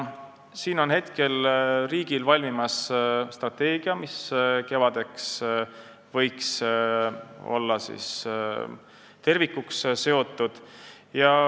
Praegu on riigil valmimas strateegia, mis kevadeks võiks olla tervikuks seotud.